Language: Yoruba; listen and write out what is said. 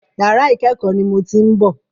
Yàrà ìkẹ́kọ̀ọ́ ni mò ń ti bọ̀.